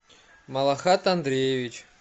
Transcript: малахат андреевич